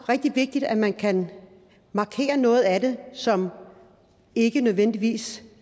rigtig vigtigt at man kan markere noget af det som ikke nødvendigvis